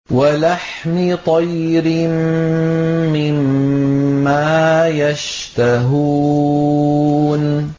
وَلَحْمِ طَيْرٍ مِّمَّا يَشْتَهُونَ